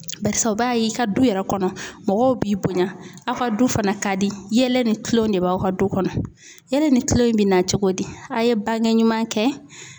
Barisa u b'a ye i ka du yɛrɛ kɔnɔ mɔgɔw b'i bonya, aw ka du fana ka di ,yɛlɛ ni kilonw de b'aw ka du kɔnɔ , yɛlɛ ni kilon in bɛ na cogo di , a ye bange ɲuman kɛ.